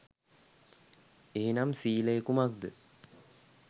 එහෙනම් සීලය කුමක්ද